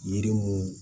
Yiri mun